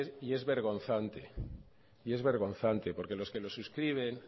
y es vergonzante y es vergonzante porque los que lo suscriben